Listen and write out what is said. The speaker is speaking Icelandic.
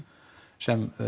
sem